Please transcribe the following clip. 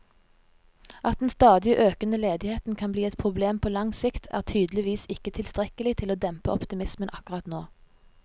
At den stadig økende ledigheten kan bli et problem på lang sikt, er tydeligvis ikke tilstrekkelig til å dempe optimismen akkurat nå.